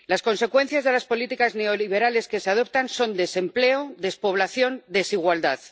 Las consecuencias de las políticas neoliberales que se adoptan son desempleo, despoblación, desigualdad.